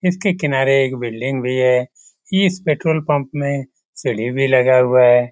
इसके किनारे एक बिल्डिंग भी है इस पेट्रोल पंप में सीढ़ी भी लगा हुआ है।